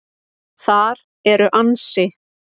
Þar eru ansi